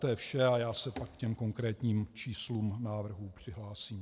To je vše a já se pak ke konkrétním číslům návrhu přihlásím.